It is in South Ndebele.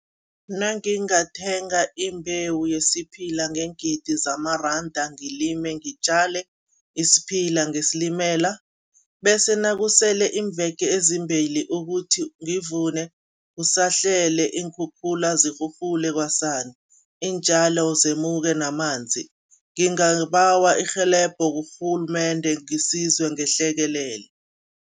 Nangingathenga imbewu yesiphila ngeengidi zamaranda ngilime, ngitjale isiphila ngesilimela bese nakusele iimveke ezimbili ukuthi ngivune, kusahlele iinkhukhula zirhurhule kwasani, iintjalo zemuke namanzi, ngingabawa irhelebho kurhulumende ngisizwe ngehlekelele.